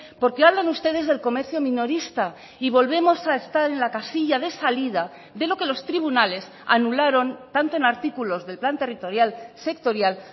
porque hablan ustedes del comercio minorista y volvemos a estar en la casilla de salida de lo que los tribunales anularon tanto en artículos del plan territorial sectorial